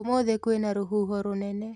ũmũthĩ kwĩna rũhuho rũnene